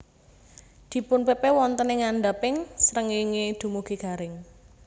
Dipunpepe wonten ing ngandhaping srengéngé dumugi garing